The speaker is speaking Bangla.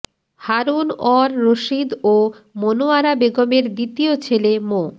হারুন অর রশীদ ও মোনোয়ারা বেগমের দ্বিতীয় ছেলে মো